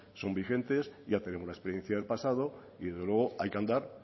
son vigentes ya tenemos la experiencia del pasado y desde luego hay que andar